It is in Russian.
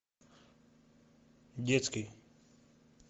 детский